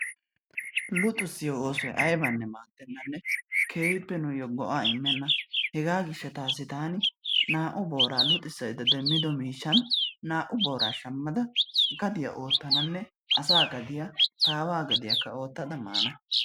luxissiyo oosoy aybbane maadenanne keehippe nuuyyo go''a immena, hegaa gishshataassi taani naa''u booraa luxissaydda demmido miishshan naa''u boora shammada gadiyaa oottananne asaa gadiyaa, taawa gaidiyakka oottada maana.